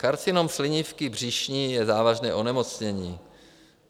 Karcinom slinivky břišní je závažné onemocnění.